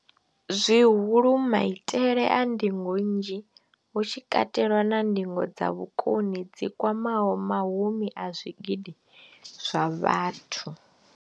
zwihulu, maitele a ndingo nnzhi, hu tshi katelwa na ndingo dza vhukoni dzi kwamaho mahumi a zwigidi zwa vhathu.